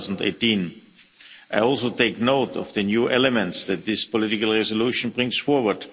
2018. I also take note of the new elements that this political resolution brings forward.